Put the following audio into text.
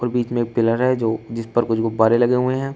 बीच में पिलर है जो जिस पर कुछ गुब्बारे लगे हुए हैं।